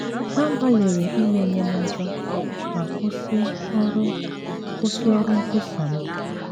Ha gbalịrị imenye m ụjọ ma kwụsị ọrụ kwụsị ọrụ nkwusa m